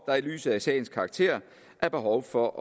der i lyset af sagens karakter er behov for